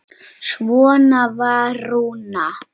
Svona var Rúna.